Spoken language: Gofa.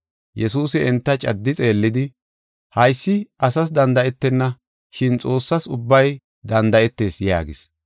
Yesuusi enta caddi xeellidi, “Haysi asas danda7etenna, shin Xoossas ubbay danda7etees” yaagis.